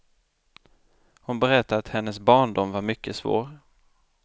Hon berättar att hennes barndom var mycket svår.